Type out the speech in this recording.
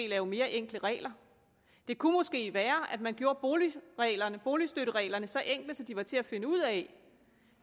lave mere enkle regler det kunne måske være at man gjorde boligstøttereglerne boligstøttereglerne så enkle at de var til at finde ud af